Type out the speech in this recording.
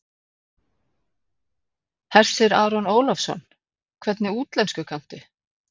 Hersir Aron Ólafsson: Hvernig útlensku kanntu?